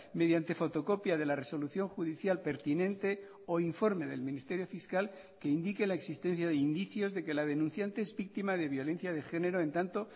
mediante fotocopia de la resolución judicial pertinente o informe del ministerio fiscal que indique la existencia de indicios de que la denunciante es víctima de violencia de género en tanto